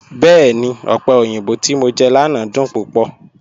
Bẹẹ̀ni, ọpẹ̀ oyinbọ̀ ti mọ̀ jẹ lánà dún púpọ̀.